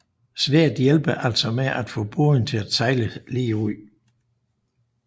Sværdet hjælper altså med at få båden til at sejle lige ud